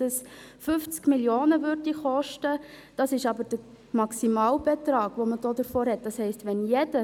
Ich gebe das Wort noch einmal der Motionärin, Grossrätin Schneider.